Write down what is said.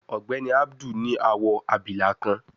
Ògbéni Abdul ní awọ abilà kán